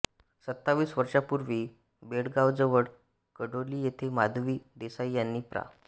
सत्तावीस वर्षांपूर्वी बेळगावजवळ कडोली येथे माधवी देसाई यांनी प्रा